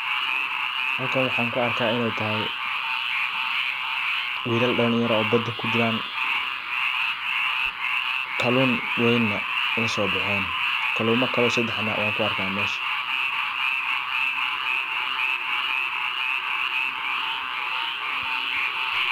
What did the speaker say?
Halkan waxan ku arkaa iney tahay wilal dhalinyaro oo badaa kujiran. Kallun weyna laso bahen kaluma kalena oo sadax ah wan ku arka mesha.